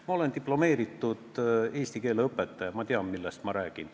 Ma olen diplomeeritud eesti keele õpetaja, ma tean, millest ma räägin.